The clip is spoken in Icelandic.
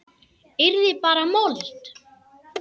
Yrði bara mold.